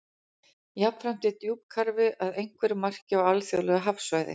Jafnframt er djúpkarfi að einhverju marki á alþjóðlegu hafsvæði.